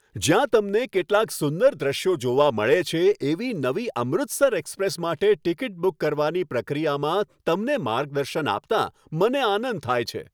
જ્યાં તમને કેટલાક સુંદર દૃશ્યો જોવા મળે છે, એવી નવી 'અમૃતસર એક્સપ્રેસ' માટે ટિકિટ બુક કરવાની પ્રક્રિયામાં તમને માર્ગદર્શન આપતાં મને આનંદ થાય છે.